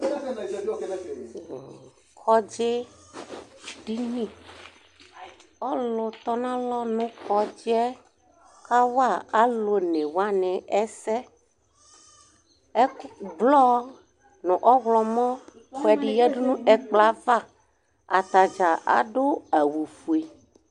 Kɔdzi dini, ɔlʋtɔnʋ alɔ nʋ kɔdzi yɛ kawa alʋ onewani ɛsɛ, blɔ nʋ ɔwlɔmɔ kʋɛdi yadʋ nʋ ɛkplɔ yɛ ava Atadza adʋ awʋfue